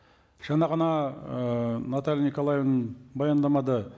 жаңа ғана ыыы наталья николаевна баяндамада